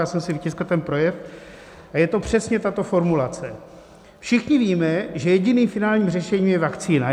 Já jsem si vytiskl ten projev a je to přesně tato formulace: "Všichni víme, že jediným finálním řešením je vakcína."